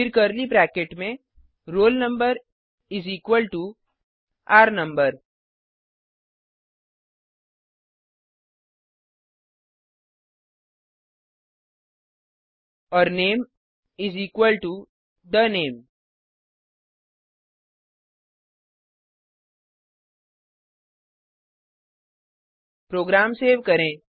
फिर curly bracket में roll number is equal to r no और name is equal to the name program save करें